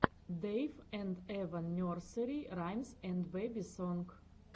дэйв энд эва нерсери раймс энд бэби сонг